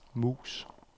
mus